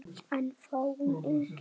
En fáum engin svör.